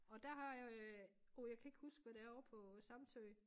Og dér har jeg øh åh jeg kan ikke huske havd det er ovre på Samsø